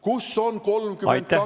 Kus on 32 miljonit dollarit ...